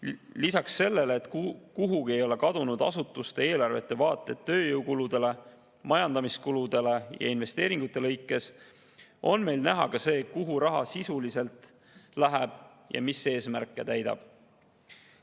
Lisaks sellele, et kuhugi ei ole kadunud asutuste eelarvete vaated tööjõukuludele, majandamiskuludele ja investeeringute lõikes, on meil näha ka see, kuhu raha sisuliselt läheb ja mis eesmärke täidab.